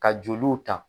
Ka joliw ta